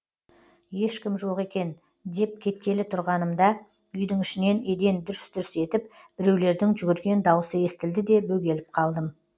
ешкім жоқ екен деп кеткелі тұрғанымда үйдің ішінен еден дүрс дүрс етіп біреулердің жүгірген даусы естілді де бөгеліп қалдым